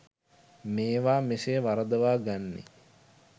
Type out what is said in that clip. මේවා මෙසේ වරදවා ගන්නේ